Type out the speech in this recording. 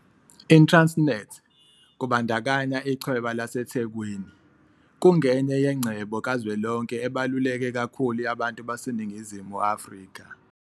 ITransnet, kubandakanya Ichweba laseThekwini, kungenye yengcebo kazwelonke ebaluleke kakhulu yabantu baseNingizimu Afrika.